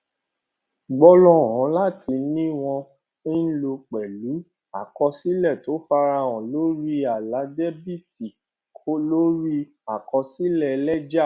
gbólóhùn láti ni wọn ń lò pẹlú àkọsílẹ tó farahàn lórí àlà dẹbìtì lórí àkọsílẹ lẹjà